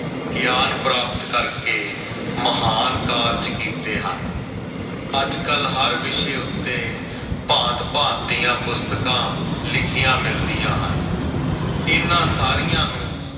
ਗਿਆਨ ਪ੍ਰਾਪਤ ਕਰਕੇ ਮਹਾਨ ਕਾਰਜ ਕੀਤੇ ਹਨ। ਅੱਜ ਕੱਲ ਹਰ ਵਿਸ਼ੇ ਉੱਤੇ ਭਾਂਤ-ਭਾਂਤ ਦੀਆਂ ਪੁਸਤਕਾਂ ਲਿਖੀਆਂ ਮਿਲਦੀਆਂ ਹਨ। ਇਨ੍ਹਾਂ ਸਾਰੀਆਂ ਨੂੰ